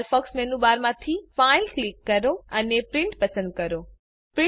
Firefox મેનુબારમાંથીFile click કરો અને પ્રિન્ટ પસંદ કરો